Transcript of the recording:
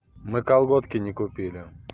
мы колготки не купили